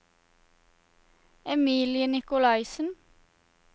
Emilie Nicolaysen